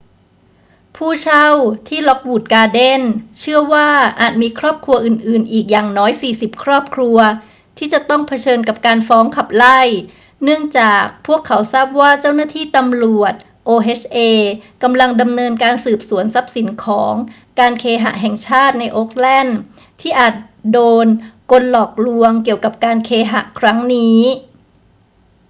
ผู้เช่าที่ lockwood gardens เชื่อว่าอาจมีครอบครัวอื่น ๆ อีกอย่างน้อย 40 ครอบครัวที่จะต้องเผชิญกับการฟ้องขับไล่ เนื่องจากพวกเขาทราบว่าเจ้าหน้าที่ตำรวจ oha กำลังดำเนินการสืบสวนทรัพย์สินของการเคหะแห่งชาติในโอ๊กแลนด์ที่อาจโดนกลหลอกลวงเกี่ยวกับการเคหะครั้งนี้